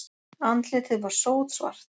Andlitið var sótsvart.